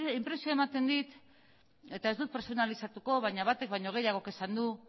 inpresioa ematen dit eta ez dut pertsonalizatuko baina batek baino gehiagok esan du